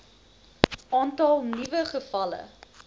aantal nuwe gevalle